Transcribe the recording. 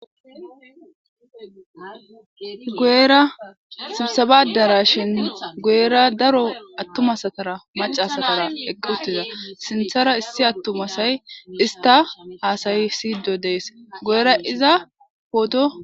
Guera sibsabadara shin guera daro attumasatara macasatara eqqutiza sinthara issi attumasay ista haasayi siyido dees guera iza pooto.